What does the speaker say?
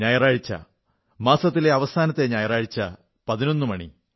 ഞായറാഴ്ച അവസാനത്തെ ഞായറാഴ്ച 11 മണി